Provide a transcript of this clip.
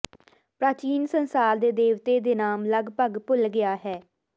ਪ੍ਰਾਚੀਨ ਸੰਸਾਰ ਦੇ ਦੇਵਤੇ ਦੇ ਨਾਮ ਲਗਭਗ ਭੁੱਲ ਗਿਆ ਹੈ